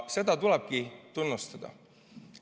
Seda tulebki tunnustada.